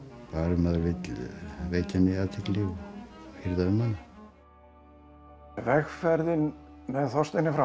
maður vill veita henni athygli og hirða um hana vegferðin með Þorsteini frá